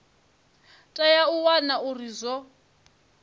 tea u wana uri zwo